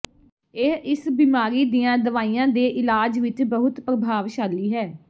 ਇਹ ਇਸ ਬਿਮਾਰੀ ਦੀਆਂ ਦਵਾਈਆਂ ਦੇ ਇਲਾਜ ਵਿੱਚ ਬਹੁਤ ਪ੍ਰਭਾਵਸ਼ਾਲੀ ਹੈ